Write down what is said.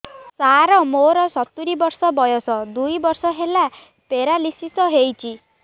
ସାର ମୋର ସତୂରୀ ବର୍ଷ ବୟସ ଦୁଇ ବର୍ଷ ହେଲା ପେରାଲିଶିଶ ହେଇଚି